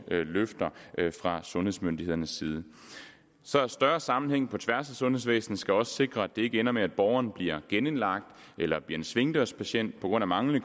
løfter fra sundhedsmyndighedernes side så større sammenhæng på tværs af sundhedsvæsenet skal også sikre at det ikke ender med at borgeren bliver genindlagt eller bliver en svingdørspatient på grund af manglende